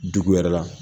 Dugu yɛrɛ la